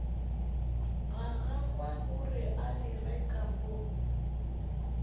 ga gagwegore a direka mo